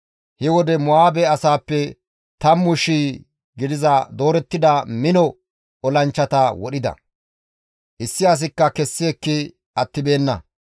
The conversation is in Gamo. He wode Mo7aabe asaappe tammu shii gidiza doorettida mino olanchchata wodhida; issi asikka kessi ekki attibeenna.